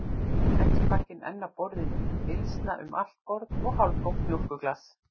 Kexpakkinn enn á borðinu, mylsna um allt borð, og hálftómt mjólkurglas.